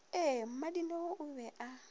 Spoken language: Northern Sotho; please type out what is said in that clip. ee mmadineo o be a